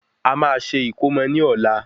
A máa ṣe ìkómo ní ọ̀la